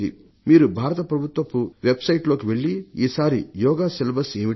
మీరు భారత ప్రభుత్వపు వెబ్సైట్లోకి వెళ్లి ఈసారి యోగా సిలబస్ ఏమిటి